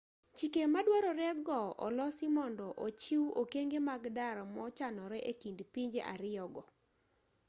chike maduarore go olosi mondo ochiw okenge mag dar mochanore e kind pinje ariyo go